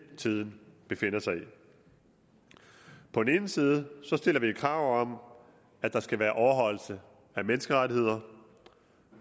tiden befinder sig i på den ene side stiller vi jo krav om at der skal være overholdelse af menneskerettigheder